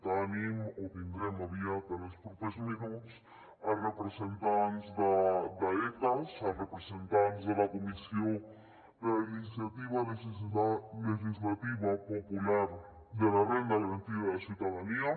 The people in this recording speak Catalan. tenim o tindrem aviat en els propers minuts representants d’ecas representants de la comissió de la iniciativa legislativa popular per una renda garantida de ciutadania